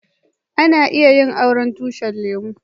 Ana iya yin auren tushin lemu.